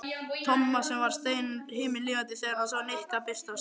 Tomma sem varð himinlifandi þegar hann sá Nikka birtast.